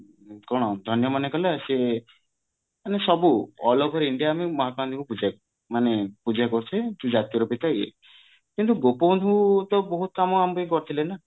କଣ ଧନ୍ଯ ମନେ କଲା ସେ ମାନେ ସବୁ all over India ରେ ମହାତ୍ମା ଗନ୍ଧିଙ୍କୁ ପୂଜା ମାନେ ପୂଜା କରୁଥିଲେ କି ଜାତିର ପିତା ଇଏ କିନ୍ତୁ ଗୋପବନ୍ଧୁ ତ ବହୁତ କାମ ଆମ ପାଇଁ କରିଥିଲେ ନା